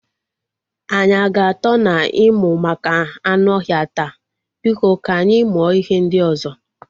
Anyị a ga atọ na ịmụ maka anụ ọhịa taa? Biko ka anyị mụọ ihe ndị ozo